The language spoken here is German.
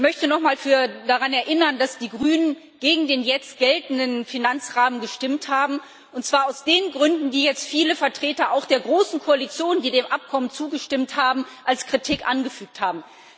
Ich möchte nochmal daran erinnern, dass die Grünen gegen den jetzt geltenden Finanzrahmen gestimmt haben, und zwar aus den Gründen, die jetzt viele Vertreter auch der großen Koalition, die dem Abkommen zugestimmt haben, als Kritik angeführt haben.